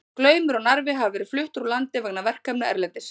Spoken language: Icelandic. Glaumur og Narfi hafa verið fluttir úr landi vegna verkefna erlendis.